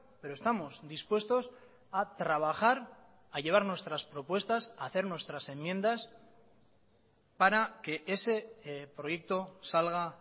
pero estamos dispuestos a trabajar a llevar nuestras propuestas a hacer nuestras enmiendas para que ese proyecto salga